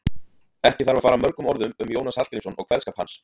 Ekki þarf að fara mörgum orðum um Jónas Hallgrímsson og kveðskap hans.